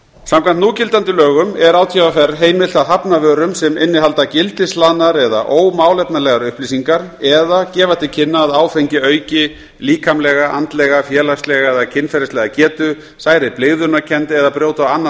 samkvæmt núgildandi lögum er átvr heimilt að hafna vörum sem innihalda gildishlaðnar eða ómálefnalegar upplýsingar eða gefa til kynna að áfengi auki líkamlega andlega félagslega eða kynferðislega getu særi blygðunarkennd eða brjóta á annan